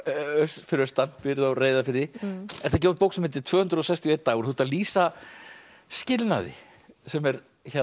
fyrir austan býrð á Reyðarfirði ert að gefa út bók sem heitir tvö hundruð sextíu og eitt dagur þú ert að lýsa skilnaði sem er